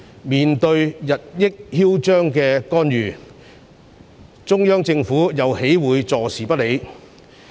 面對日益囂張的干預，中央政府又豈會坐視不理？